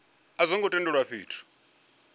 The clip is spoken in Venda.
a zwo ngo tendelwa fhethu